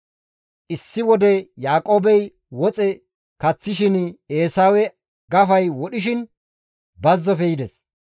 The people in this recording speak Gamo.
Issi wode Yaaqoobey woxe kaththishin Eesawe gafay wodhishin, bazzofe yides.